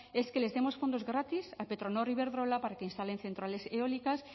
es que les demos fondos gratis a petronor e iberdrola para que instalen centrales eólicas